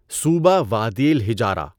صوبہ وادی الحِجارہ